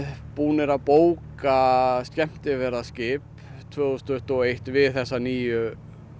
búnir að bóka skemmtiferðaskip tvö þúsund tuttugu og eitt við þessa nýju